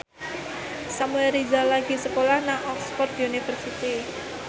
Samuel Rizal lagi sekolah nang Oxford university